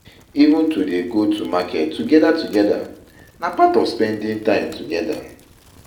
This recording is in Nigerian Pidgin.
Even to dey go to market togeda togeda na part of spending time together.